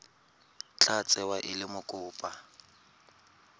tla tsewa e le mokopa